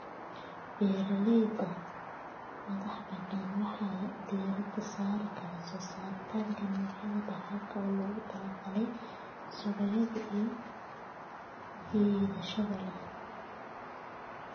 Beeralayda madaxbannaan waxay diiradda saari karaan soo saarista noocyo dhaxal ah oo loogu talagalay suuqyo soo jiidasho leh.